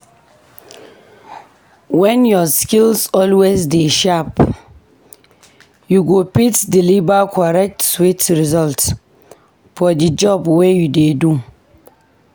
When ur skills always dey sharp, you go fit deliver correct sweet results for di job wey u dey do.